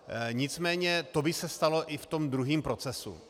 Nicméně to by se stalo i v tom druhém procesu.